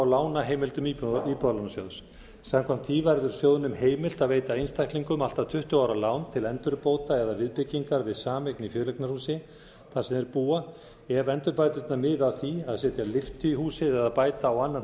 á lánaheimildum íbúðalánasjóð samkvæmt því verður sjóðnum heimilt að veita einstaklingum allt að tuttugu ára lán til endurbóta eða viðbyggingar við sameign í fjöleignarhúsi þar sem þeir búa ef endurbæturnar miða að því að setja lyftu í húsið eða bæta á annan